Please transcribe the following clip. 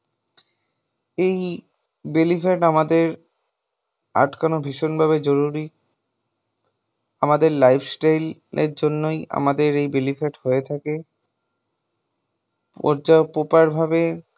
এই belly fat আমাদের আটকানো ভীষণ ভাবে জরুরী আমাদের life style জন্যই আমাদের এই belly fat হয়ে থাকে। পর্যাপ্ত ভাবে